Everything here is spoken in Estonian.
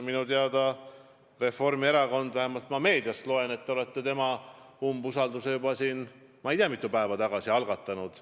Minu teada on Reformierakond – vähemalt meediast olen ma seda lugenud – tema vastu umbusaldusavalduse juba ma ei tea mitu päeva tagasi algatanud.